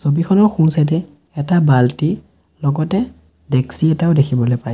ছবিখনৰ সোঁ চাইডে এটা বাল্টি লগতে ডেক্সী এটাও দেখিবলৈ পাইছোঁ।